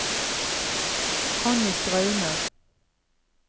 Connie Straume